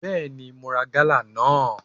Bẹẹni, Mo ra gala naa